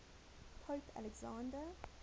pope alexander